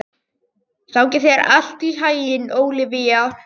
Gangi þér allt í haginn, Ólivía.